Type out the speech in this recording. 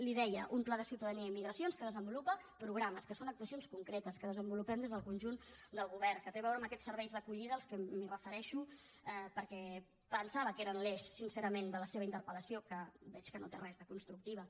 li ho deia un pla de ciutadania i migracions que desenvolupa programes que són actuacions concretes que desenvolupem des del conjunt del govern que té a veure amb aquests serveis d’acollida als qual em refereixo perquè pensava que eren l’eix sincerament de la seva interpeltructiva